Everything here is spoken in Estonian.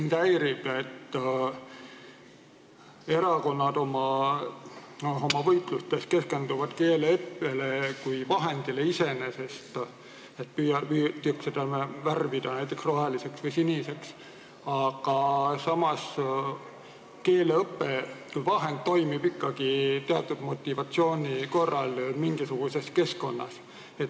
Mind häirib, et erakonnad oma võitlustes keskenduvad keeleõppele kui vahendile iseeneses, seda püütakse värvida näiteks roheliseks või siniseks, aga samas keeleõpe kui vahend toimib ikkagi teatud motivatsiooni korral mingisuguses keskkonnas.